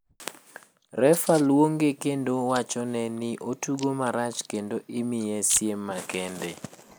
Refa luonge kendp wachone ni otugo marach kendo imiye siem makende.